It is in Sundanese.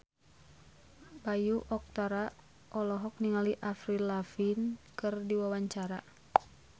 Bayu Octara olohok ningali Avril Lavigne keur diwawancara